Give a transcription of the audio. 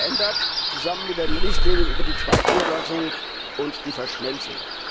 Sie wird hier geändert, zusammen mit den Richtlinien über die Zweigniederlassungen und die Verschmelzung.